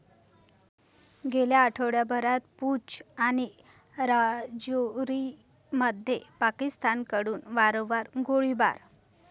गेल्या आठवड्याभरात पूंछ आणि राजौरीमध्ये पाकिस्तानकडून वारंवार गोळीबार